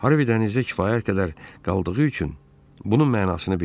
Harvey dənizdə kifayət qədər qaldığı üçün bunun mənasını bilirdi.